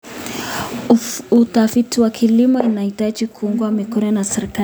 Utafiti wa kilimo unahitaji kuungwa mkono na serikali.